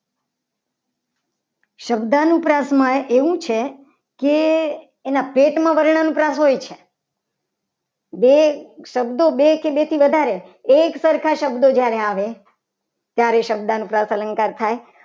શબ્દનુપ્રસ્થ આપણે જોઈએ શબ્દ અનુપ્રાસ માં એવું છે. કે એના પેટમાં વર્ણના અનુપ્રાસ હોય છે. બે શબ્દો બે કે બે થી વધારે એક સરખા શબ્દો જ્યારે આવે ત્યારે શબ્દનુપ્રાસ અલંકાર થાય.